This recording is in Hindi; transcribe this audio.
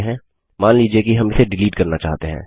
मान लीजिए कि हम इसे डिलीट करना चाहते हैं